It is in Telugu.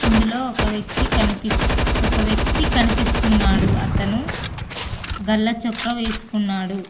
ఇందులో ఒక వ్యక్తి కనిపి ఒక వ్యక్తి కనిపిస్తున్నాడు అతను గల్ల చొక్కా వేసుకున్నాడు.